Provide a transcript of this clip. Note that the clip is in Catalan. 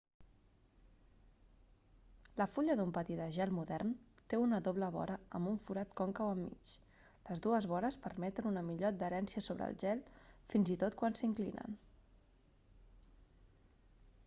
la fulla d'un patí de gel modern té una doble vora amb un forat còncau enmig les dues vores permeten una millor adherència sobre el gel fins i tot quan s'inclinen